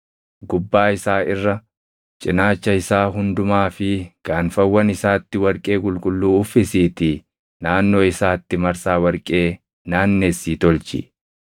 Gubbaa isaa irra, cinaacha isaa hundumaa fi gaanfawwan isaatti warqee qulqulluu uffisiitii naannoo isaatti marsaa warqee naannessii tolchi.